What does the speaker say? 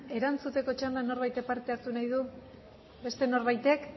erantzuteko txandan norbaitek parte hartu behar du beste norbaitek